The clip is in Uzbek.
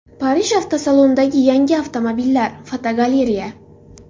Parij avtosalonidagi yangi avtomobillar (fotogalereya).